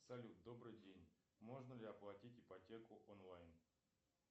салют добрый день можно ли оплатить ипотеку онлайн